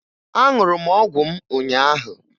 Aṅụrụ m ọgwụ m ụnyaahụ